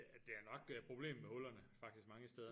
Ja det er nok øh problem med hullerne faktisk mange steder